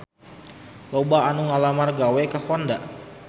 Loba anu ngalamar gawe ka Honda